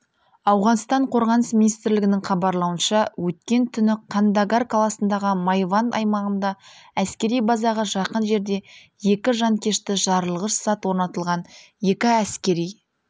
ауғанстан қорғаныс министрлігінің хабарлауынша өткен түні кандагар қаласындағы майванд аймағында әскери базаға жақын жерде екі жанкешті жарылғыш зат орнатылған екі әскери